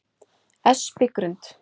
Espigrund